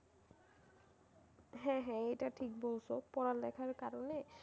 হ্যাঁ হ্যাঁ এটা ঠিক বলছো পড়ালেখার কারণে